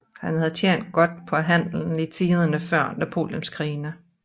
Han havde tjent godt på handelen i tiderne før Napoleonskrigene